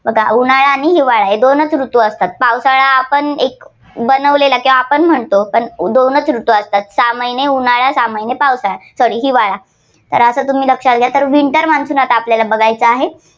उन्हाळा आणि हिवाळा हे दोनच ऋतू असतात. पावसाळा आपण एक बनवलेला की आपण म्हणतो. पण दोनच ऋतू असतात. सहा महिने उन्हाळा आणि सहा महिन पावसाळा sorry हिवाळा. तर असं तुम्ही लक्षात घ्या. तर winter monsoon आपल्याला बघायचं आहे.